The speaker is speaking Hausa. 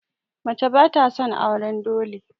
Mace ba sa son auren dole